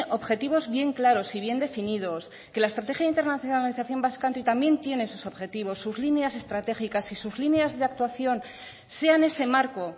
objetivos bien claros y bien definidos que la estrategia internacionalización basque country también tiene sus objetivos sus líneas estratégicas y sus líneas de actuación sean ese marco